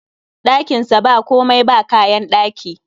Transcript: Ɗakin sa ba komai, ba kayan ɗaki